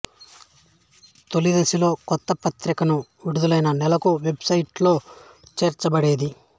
తొలిదశలో కొత్త పత్రిక విడుదలైన నెలకు వెబ్సైట్ లో చేర్చబడేది